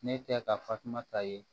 Ne tɛ ka fatumata ye